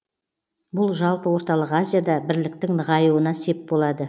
бұл жалпы орталық азияда бірліктің нығаюына сеп болады